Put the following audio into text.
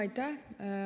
Aitäh!